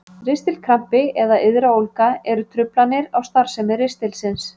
Ristilkrampi eða iðraólga eru truflanir á starfsemi ristilsins.